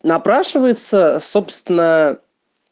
напрашивается собственно